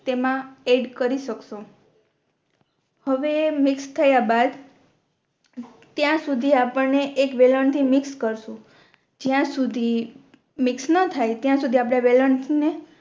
તેમા એડ કરી શકશો હવે મિક્સ થયા બાદ ત્યાં સુધી આપણે એક વેલણ થી મિક્સ કરશું જ્યા સુધી મિક્સ ના થાય ત્યાં સુધી આપણે વેલણ ને